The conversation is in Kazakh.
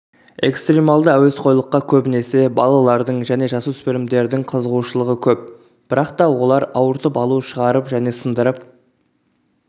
экстрималды әуесқойлыққа көбінесе балалардың және жасөспірімдердің қызығушылығы көп бірақта олар ауыртып алу шығарып және сындырып